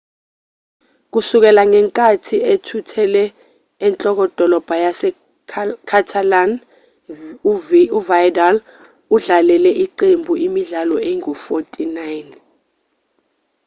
kusukela ngenkathi ethuthele enhlokodolobha yase-catalan uvidal udlalele iqembu imidlalo engu-49